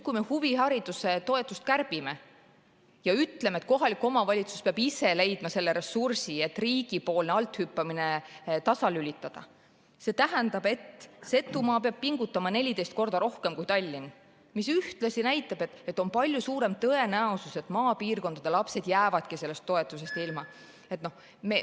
Kui me huvihariduse toetust kärbime ja ütleme, et kohalik omavalitsus peab ise leidma selle ressursi, et riigi althüppamine tasalülitada, see tähendab, et Setumaa peab pingutama 14 korda rohkem kui Tallinn, mis ühtlasi näitab, et on palju suurem tõenäosus, et maapiirkondade lapsed jäävadki sellest toetusest ilma.